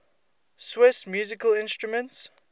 swiss musical instruments